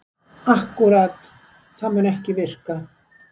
Akkúrat, það mun ekki virka.